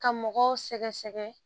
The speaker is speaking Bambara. Ka mɔgɔw sɛgɛsɛgɛ